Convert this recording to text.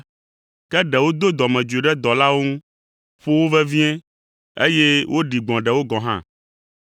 Ke ɖewo do dɔmedzoe ɖe dɔlawo ŋu, ƒo wo vevie, eye woɖi gbɔ̃ ɖewo gɔ̃ hã.